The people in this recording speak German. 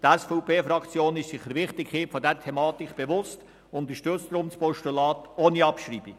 Die SVP-Fraktion ist sich der Wichtigkeit dieser Thematik bewusst und unterstützt daher das Postulat ohne Abschreibung.